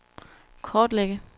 kortlægge